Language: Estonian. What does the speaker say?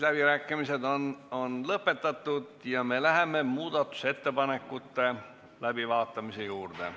Läbirääkimised on lõppenud ja me läheme muudatusettepanekute läbivaatamise juurde.